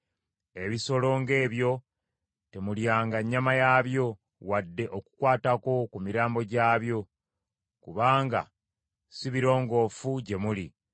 Ebisolo ng’ebyo temulyanga nnyama yaabyo, wadde okukwatako ku mirambo gyabyo; kubanga si birongoofu gye muli.